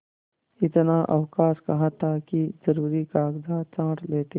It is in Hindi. इतना अवकाश कहाँ था कि जरुरी कागजात छॉँट लेते